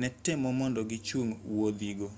ne temo mondo gichung wuodhigo